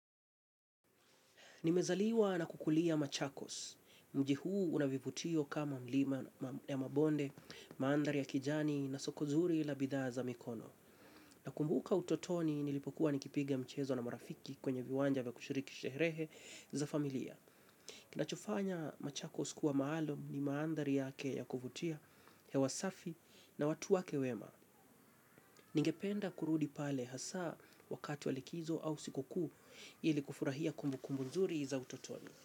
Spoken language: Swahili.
Nimezaliwa na kukulia machakos. Mjii huu una vivutio kama mlima ya mabonde, mandhari ya kijani na soko zuri la bidhaa za mikono. Nakumbuka utotoni nilipokuwa nikipiga mchezo na marafiki kwenye viwanja vya kushiriki sherehe za familia. Kinachofanya machakos kuwa maalum ni mandhari yake ya kuvutia, hewa safi na watu wake wema. Ningependa kurudi pale hasa wakati wa likizo au siku kuu ili kufurahia kumbukumbu nzuri za utotoni.